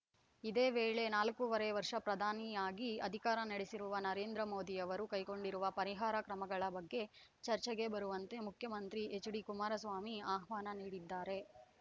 ಇದೇ ವೇಳೆ ನಾಲ್ಕೂವರೆ ವರ್ಷ ಪ್ರಧಾನಿಯಾಗಿ ಅಧಿಕಾರ ನಡೆಸಿರುವ ನರೇಂದ್ರ ಮೋದಿಯವರು ಕೈಗೊಂಡಿರುವ ಪರಿಹಾರ ಕ್ರಮಗಳ ಬಗ್ಗೆ ಚರ್ಚೆಗೆ ಬರುವಂತೆ ಮುಖ್ಯಮಂತ್ರಿ ಎಚ್‌ಡಿ ಕುಮಾರಸ್ವಾಮಿ ಆಹ್ವಾನ ನೀಡಿದ್ದಾರೆ